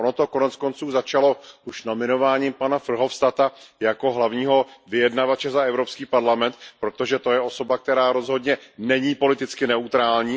Ono to koneckonců začalo už nominováním pana Verhofstadta hlavním vyjednavačem za Evropský parlament, protože to je osoba, která rozhodně není politicky neutrální.